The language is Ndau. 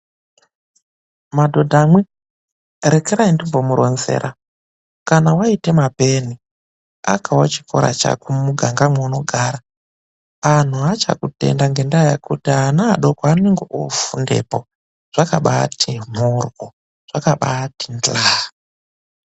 Madhodha mwi, rekerai ndimbomuronzera. Kana waite mapeni akawo chikora chako mumuganga mweunogara. Anhu achakutenda ngendaa yekuti ana adoko anonga oofundepo. Zvakabaati mhoryo, zvakabaati ndlaa